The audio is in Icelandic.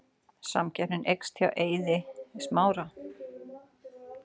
Samkeppnin eykst hjá Eiði Smára